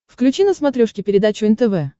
включи на смотрешке передачу нтв